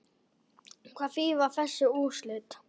Hvað þýða þessi úrslit?